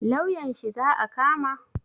Lauyan shi za a kama?